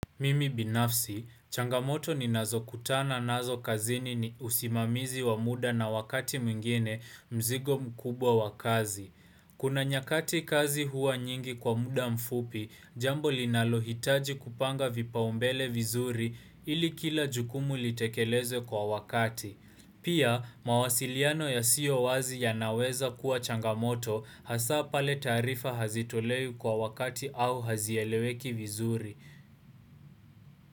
Mimi binafsi, changamoto ni nazo kutana nazo kazini ni usimamizi wa muda na wakati mwingine mzigo mkubwa wa kazi. Kuna nyakati kazi huwa nyingi kwa muda mfupi, jambo linalohitaji kupanga vipa umbele vizuri ili kila jukumu litekelezwe kwa wakati. Pia, mawasiliano yasiyo wazi yanaweza kuwa changamoto hasa pale taarifa hazitolewi kwa wakati au hazieleweki vizuri.